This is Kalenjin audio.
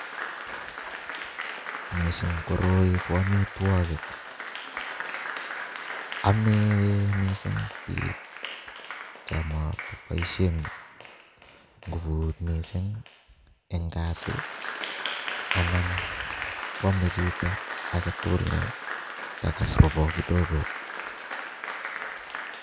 Missing koroi KO amitwogiik, ame missing biik chon moboishien nguvut missing en kasit, anan kwome chito agetugul ngokas rubet kidogoo